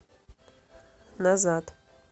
назад